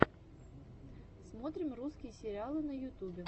смотрим русские сериалы на ютубе